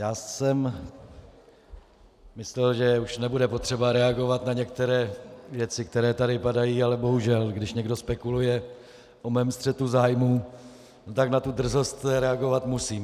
Já jsem myslel, že už nebude potřeba reagovat na některé věci, které tady padají, ale bohužel, když někdo spekuluje o mém střetu zájmů, tak na tu drzost reagovat musím.